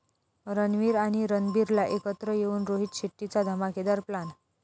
रणवीर आणि रणबीरला एकत्र घेऊन रोहित शेट्टीचा धमाकेदार प्लॅन